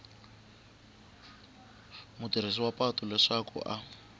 mutirhisi wa patu leswaku a